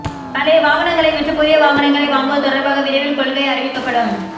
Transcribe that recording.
பழைய வாகனங்களை விற்று புதிய வாகனங்கள் வாங்குவது தொடர்பாக விரைவில் கொள்கை அறிவிக்கப்படும்